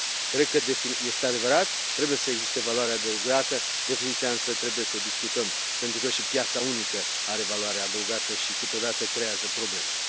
Cred că, este adevărat, trebuie să existe valoare adăugată, definiția însă trebuie să o discutăm pentru că și piața unică are valoare adăugată și câteodată creează probleme.